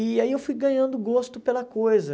E aí eu fui ganhando gosto pela coisa.